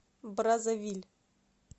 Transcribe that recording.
браззавиль